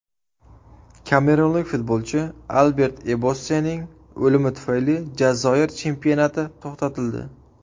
Kamerunlik futbolchi Albert Ebossening o‘limi tufayli Jazoir chempionati to‘xtatildi.